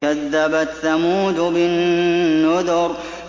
كَذَّبَتْ ثَمُودُ بِالنُّذُرِ